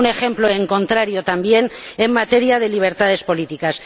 Es un ejemplo en contrario también en materia de libertades políticas.